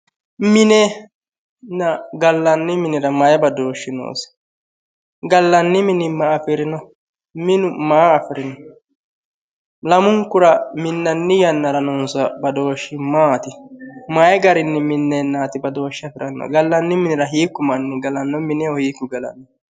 Minenna gallanni minira mayi badooshshi noosi gallanni mini ma afirino minu maa afirino lamunukura minanni yannara noosi badooshi maati mayi garinni mineenaatti badooshshe afirannohu galanni minira hiiku manni galanno mineho hiiku galanno